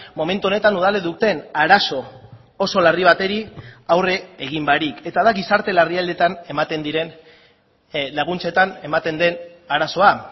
momentu honetan udalek duten arazo oso larri bati aurre egin barik eta da gizarte larrialditan ematen diren laguntzetan ematen den arazoa